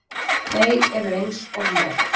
Þeir eru eins og vél.